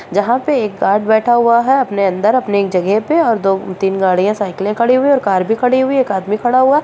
जहाँ पे एक गार्ड बैठा हुआ है अपने अंदर अपनी जगह पर और दो तीन गाड़ियाँ साइकिल खड़ी हुई और कर भी खड़ी हुई है एक आदमी खड़ा हुआ --